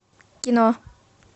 кино